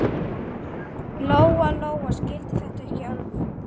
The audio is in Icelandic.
Lóa-Lóa skildi þetta ekki alveg.